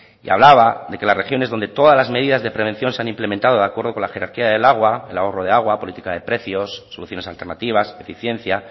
y hablaba de que las regiones donde todas las medidas de prevención se han implementado de acuerdo con la jerarquía del agua el ahorro de agua política de precios soluciones alternativas eficiencia